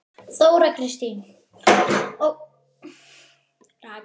Þóra Kristín: Og ætlarðu aftur?